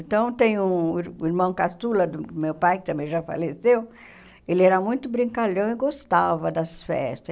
Então, tem um um irmão caçula do meu pai, que também já faleceu, ele era muito brincalhão e gostava das festas.